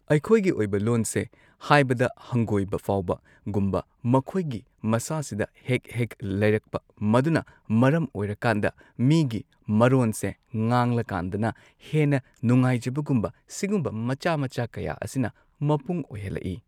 ꯑꯩꯈꯣꯏꯒꯤ ꯑꯣꯏꯕ ꯂꯣꯟꯁꯦ ꯍꯥꯏꯕꯗ ꯍꯪꯒꯣꯏꯕ ꯐꯥꯎꯕꯒꯨꯝꯕ ꯃꯈꯣꯏꯒꯤ ꯃꯁꯥꯁꯤꯗ ꯍꯦꯛ ꯍꯦꯛ ꯂꯩꯔꯛꯄ ꯃꯗꯨꯅ ꯃꯔꯝ ꯑꯣꯏꯔꯀꯥꯟꯗ ꯃꯤꯒꯤ ꯃꯔꯣꯟꯁꯦ ꯉꯥꯡꯂꯀꯥꯟꯗꯅ ꯍꯦꯟꯅ ꯅꯨꯡꯉꯥꯏꯖꯕꯒꯨꯝꯕ ꯁꯤꯒꯨꯝꯕ ꯃꯆꯥ ꯃꯆꯥ ꯀꯌꯥ ꯑꯁꯤꯅ ꯃꯄꯨꯡ ꯑꯣꯏꯍꯜꯂꯛꯏ꯫